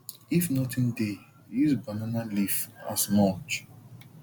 if nothing dey use banana leaf as mulch